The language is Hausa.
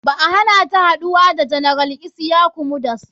Ba a hanata haɗuwa da general isyaku yunusa mudas.